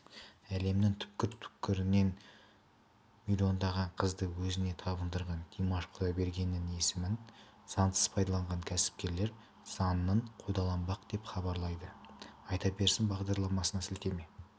әлемнің түпкір-түпкірінен миллиондаған қызды өзіне табындырған димаш құдайбергеннің есімін заңсыз пайдаланған кәсіпкерлер заңмен қудаланбақ деп хабарлайды айта берсін бағдарламасына сілтеме